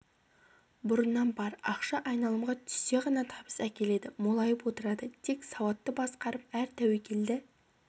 бұрынан бар ақша айналымға түссе ғана табыс әкеледі молайып отырады тек сауатты басқарып әр тәуекелді